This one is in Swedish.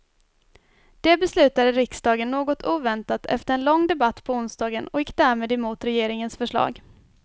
Det beslutade riksdagen något oväntat efter en lång debatt på onsdagen och gick därmed emot regeringens förslag.